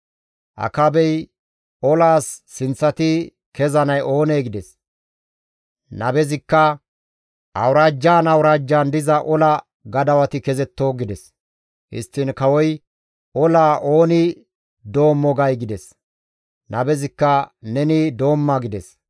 Akaabey, «Olaas sinththati kezanay oonee?» gides. Nabezikka, «Awuraajjan awuraajjan diza ola gadawati kezetto» gides. Histtiin kawoy, «Olaa ooni doommo gay?» gides. Nabezikka, «Neni doomma» gides.